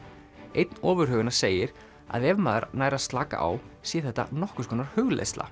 einn ofurhuganna segir að ef maður nær að slaka á sé þetta nokkurs konar hugleiðsla